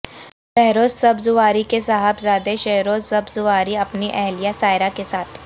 بہروز سبزواری کے صاحبزادے شہروزسبزواری اپنی اہلیہ سائرہ کے ساتھ